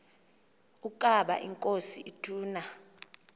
ukaba inkosi ituna